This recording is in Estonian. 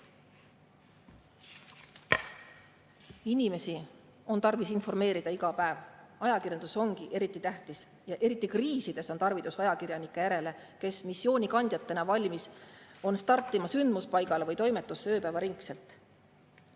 Inimesi on tarvis informeerida iga päev, ajakirjandus ongi eriti tähtis ja eriti kriisides on tarvis ajakirjanikke, kes missioonikandjatena on valmis startima sündmuspaigale või toimetusse ööpäevaringselt.